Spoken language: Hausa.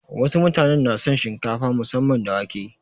Wasu mutanen na son shinkafa musamman da wake.